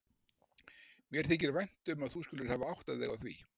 Mér þykir vænt um að þú skulir hafir áttað þig á því.